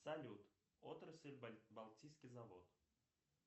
салют отрасль балтийский завод